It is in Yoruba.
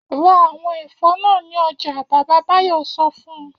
Ra àwọn ẹ̀fọ́ náà ní ọjà! Bàbá Báyọ̀ sọ fún un.